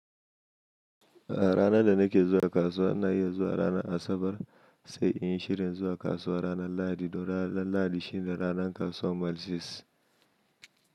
A ranar da nake zuwa kasuwa ina iya zuwa ranar Asabar sai in yi shirin zuwa kasuwa ranar Lahadi don ranar Lahadi shine ranar kasuwar Mile Six.